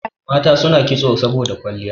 Mata suna kitso saboda kwalliya